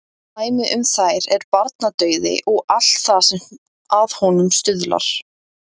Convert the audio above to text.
Dæmi um þær er barnadauði og allt það sem að honum stuðlar.